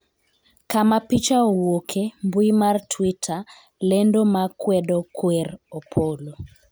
kama picha owuoke ,mbui mar twitter ,lendo ma kwedo kwer Opolo